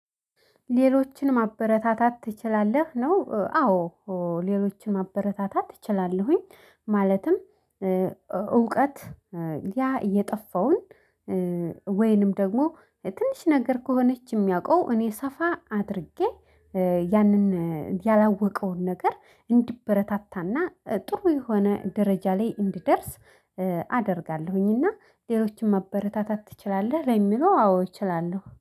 ሌሎችን ማበረታታት ትችላለህ? ነው። አዎ ሌሎችን ማበረታታት እትችላለሁኝ። ማለትም እውቀት ያ እየጠፋውን። ወይንም ደግሞ ትንሽ ነገር ከሆነች የሚያውቀው እኔ ሰፋ አድርጌ ያንን ያላወቀውን ነገር እንዲበረታታና ጥሩ የሆነ ደረጃ ላይ እንዲደርስ። አደርጋለሁኝና ሌሎችን ማበረታታት ትችላለህ ለሚለው አዎ እችላለሁ